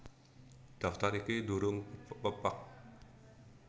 Daftar iki durung pepak